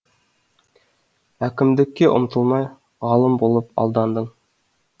әкімдікке ұмтылмай ғалым болып алдандың